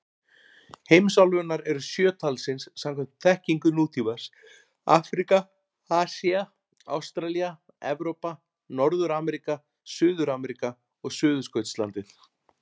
Heimsálfurnar eru sjö talsins samkvæmt þekkingu nútímans: Afríka, Asía, Ástralía, Evrópa, Norður-Ameríka, Suður-Ameríka og Suðurskautslandið.